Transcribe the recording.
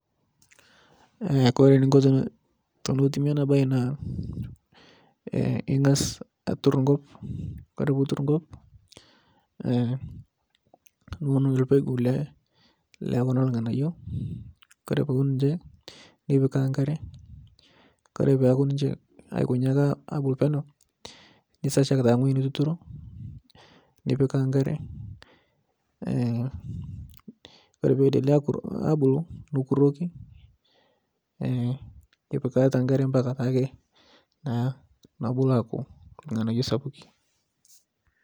Kore neikoni tenetumi ana bae naa en'gas atur nkop Kore pitur nkop niun lpegu lee Kuna lng'anayuo Kore piun ninye nipikaa nkare Kore peaku ninche aikonyi ake abulu peneu nisachaki taa ngo'ji nituturo nipikaa nkare Kore peidelea abulu nukuroki ipikarita nkare mpaka naake nobulu aku lng'anayuo sapuki .